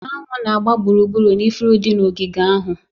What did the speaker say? Anụ na-agba gburugburu ifuru dị n'ogige ahụ.